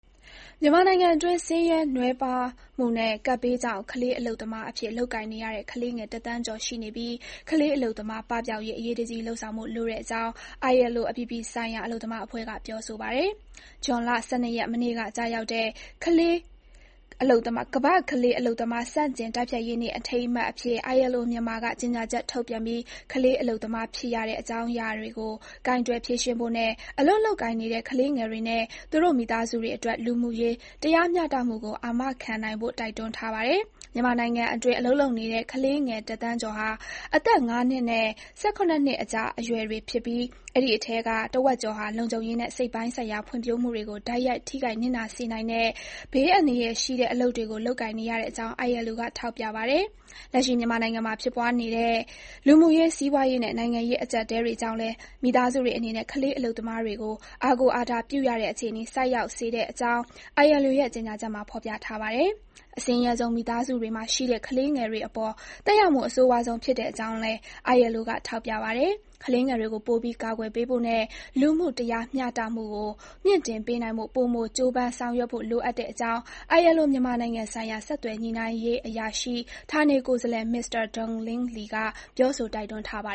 မြန်မာနိုင်ငံတွင်း ဆင်းရဲနွမ်းပါးမှုနဲ့ ကပ်ဘေးကြောင့် ကလေးအလုပ်သမားအဖြစ် လုပ်ကိုင်နေရတဲ့ ကလေးငယ် တစ်သန်းကျော် ရှိနေပြီး ကလေးအလုပ်သမား ပပျောက်ရေး အရေးတကြီး လုပ်ဆောင်ဖို့ လိုတဲ့အကြောင်း ILO အပြည်ပြည်ဆိုင်ရာ အလုပ်သမား အဖွဲ့က ပြောဆိုပါတယ်။ ဇွန်လ ၁၂ ရက်၊ မနေ့က ကျရောက်တဲ့ ကမ္ဘာ့ကလေးအလုပ်သမား ဆန့်ကျင်တိုက်ဖျက်ရေးနေ့ အထိမ်းအမှတ် အဖြစ် ILO (မြန်မာ) က ကြေညာချက် ထုတ်ပြန်ပြီး ကလေးအလုပ်သမား ဖြစ်ရတဲ့ အကြောင်းတရားတွေကို ကိုင်တွယ်ဖြေရှင်းဖို့နဲ့ အလုပ်လုပ်ကိုင်နေတဲ့ ကလေးငယ်တွေနဲ့ သူတို့ မိသားစုတွေအတွက် လူမှုရေးတရားမျှတမှုကို အာမခံနိုင်ဖို့ တိုက်တွန်းထားပါတယ်။ မြန်မာနိုင်ငံအတွင်း အလုပ်လုပ်ကိုင်နေတဲ့ ကလေးငယ် ၁ သန်းကျော်ဟာ အသက် ၅ နှစ်နဲ့ ၁၇ နှစ်အကြား အရွယ်တွေ ဖြစ်ပြီး အဲဒီအထဲက တဝက်ကျော်ဟာ လုံခြုံရေးနဲ့ စိတ်ပိုင်းဆိုင်ရာ ဖွံ့ဖြိုးမှုတွေကို တိုက်ရိုက် ထိခိုက် နစ်နာစေနိုင်တဲ့ ဘေးအန္တရာယ်ရှိတဲ့ အလုပ်တွေကို လုပ်ကိုင်နေရတဲ့အကြောင်း ILO က ထောက်ပြပါတယ်။ လက်ရှိ မြန်မာနိုင်ငံမှာ ဖြစ်ပွားနေတဲ့ လူမှုရေး စီးပွားရေးနဲ့ နိုင်ငံရေးအကျပ်အတည်းတွေကြောင့်လည်း မိသားစုတွေအနေနဲ့ ကလေးအလုပ်သမားတွေကို အားကိုးအားထားပြုရတဲ့အခြေအနေ ဆိုက်ရောက်စေတဲ့ အကြောင်း ILO ရဲ့ ကြေညာချက်မှာ ဖေါ်ပြပါတယ်။ အဆင်းရဲဆုံး မိသားစုတွေမှာ ရှိတဲ့ ကလေးတွေ အပေါ် သက်ရောက်မှု အဆိုးဝါးဆုံး ဖြစ်တဲ့အကြောင်းလည်း ILO က ထောက်ပြပါတယ်။ ကလေးတွေကို ပိုပြီး ကာကွယ်ပေးဖို့နဲ့ လူမှုတရားမျှတမှုကို မြှင့်တင်ပေးနိုင်ဖို့ ပိုမို ကြိုးပမ်းဆောင်ရွက်ဖို့ လိုအပ်တဲ့အကြောင်း ILO မြန်မာနိုင်ငံ ဆိုင်ရာ ဆက်သွယ်ညှိနှိုင်းရေးအရာရှိ ဌာနေကိုယ်စားလှယ် Mr Donglin Li က ပြောဆို တိုက်တွန်းထားပါ